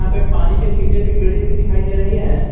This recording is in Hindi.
यहां पे पानी के छीटें भी गिरी हुई दिखाई दे रही हैं।